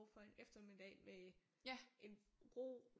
For en eftermiddag med en ro